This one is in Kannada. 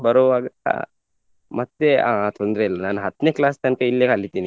ಬರುವಾಗ ಮತ್ತೆ ಅಹ್ ತೊಂದ್ರೆ ಇಲ್ಲ ನಾನ್ ಹತ್ನೆ class ತನಕ ಇಲ್ಲೇ ಕಲಿತೇನೆ.